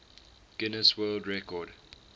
guinness world record